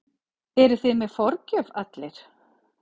Eruð þið með forgjöf allir?